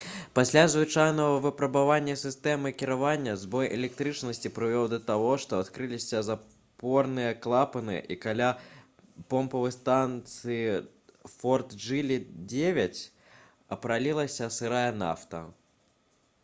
пасля звычайнага выпрабавання сістэмы кіравання збой электрычнасці прывёў да таго што адкрыліся запорныя клапаны і каля помпавай станцыі «форт джылі 9» пралілася сырая нафта